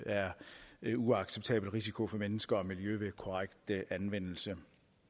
er en uacceptabel risiko for mennesker og miljø ved korrekt anvendelse